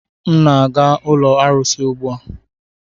M na-aga ụlọ arụsị ugbu a